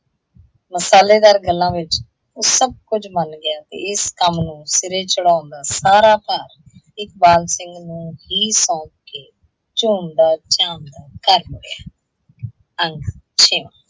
ਮਸਾਲੇਦਾਰ ਗੱਲਾਂ ਵਿੱਚ ਓਹ ਸਭ ਕੁੱਝ ਮੰਨ ਗਿਆ ਤੇ ਇਸ ਕੰਮ ਨੂੰ ਸਿਰੇ ਚੜ੍ਹਾਉਣ ਦਾ ਸਾਰਾ ਭਾਰ, ਇਕਬਾਲ ਸਿੰਘ ਨੂੰ ਹੀ ਸੌਂਪ ਕੇ ਝੂਮਦਾ ਝਾਮਦਾ ਘਰ ਮੁੜਿਆ